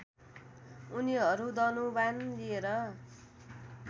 उनीहरू धनुवाण लिएर